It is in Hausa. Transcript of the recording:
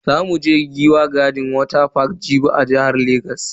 Za mu je Giwa garden water park Jibi a jihar Legas.